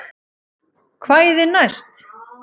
Kvæðin næst?